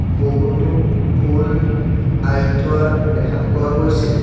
বহুতো ফুল আঁৰি থোৱা দেখা পোৱা গৈছে।